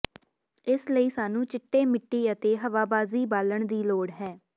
ਇਸ ਲਈ ਸਾਨੂੰ ਚਿੱਟੇ ਮਿੱਟੀ ਅਤੇ ਹਵਾਬਾਜ਼ੀ ਬਾਲਣ ਦੀ ਲੋੜ ਹੈ